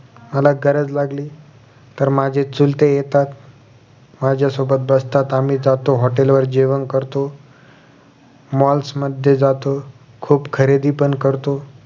मला गरज लागली तर माझे चुलते येतात माझ्यासोबत बसतात आम्ही जातो hotel वर जेवण करतो malls मध्ये जातो खुप खरेदी पण करतो